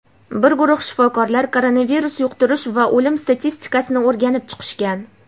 Bir guruh shifokorlar koronavirus yuqtirish va o‘lim statistikasini o‘rganib chiqishgan.